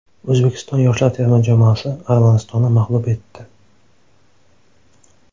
O‘zbekiston yoshlar terma jamoasi Armanistonni mag‘lub etdi.